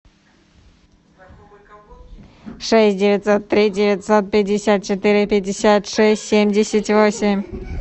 шесть девятьсот три девятьсот пятьдесят четыре пятьдесят шесть семьдесят восемь